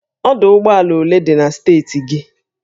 Ọdụ ụgbọ ala ole dị na steeti gị?